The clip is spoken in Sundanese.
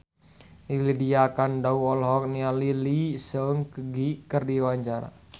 Lydia Kandou olohok ningali Lee Seung Gi keur diwawancara